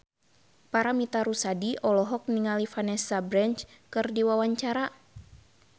Paramitha Rusady olohok ningali Vanessa Branch keur diwawancara